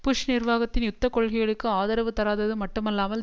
push நிர்வாகத்தின் யுத்த கொள்கைகளுக்கு ஆதரவு தராதது மட்டுமல்லாமல்